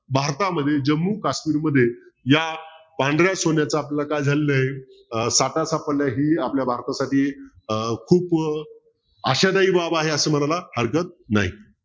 भारतमध्ये जम्मू काश्मीर मध्ये या पांढऱ्या सोन्याच्या आपलं काय झालेलं आहे अं ही आपल्या भारतासाठी अं खूप आशादायी बाब आहे असं म्हणायला हरकत नाही